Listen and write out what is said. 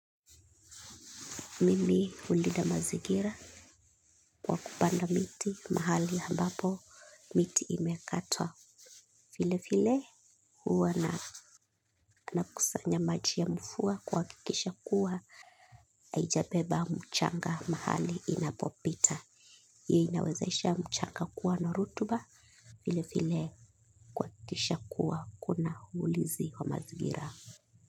Mimi hulida mazigira kwa kupanda miti mahali ambapo miti imekatwa. File file, huwa na, nakusanya maji ya mfua kuhakikisha kuwa. Haijabeba mchanga mahali inapopita. Hiyo inawezesha mchanga kuwa na rutuba. File file kuhakikisha kuwa kuna ulizi wa mazigira.